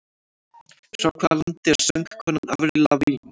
Frá hvaða landi er söngkonan Avril Lavigne?